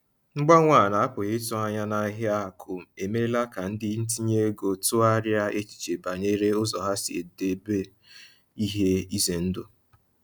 Mgbanwe a na-apụghị ịtụ anya n’ahịa akụ emeela ka ndị ntinye ego tụgharịa echiche banyere ụzọ ha si edobe ihe ize ndụ.